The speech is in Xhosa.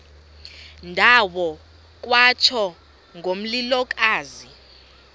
ndawo kwatsho ngomlilokazi